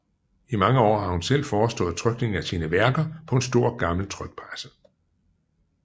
I mange år har hun selv forestået trykningen af sine værker på en stor gammel trykpresse